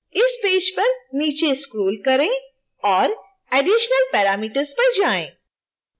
इस पेज पर नीचे scroll करें और additional parameters पर जाएँ